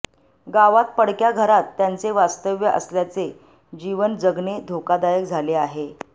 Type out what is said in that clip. गावात पडक्या घरात त्यांचे वास्तव्य असल्याचे जीवन जगने धोकादायक झाले आहे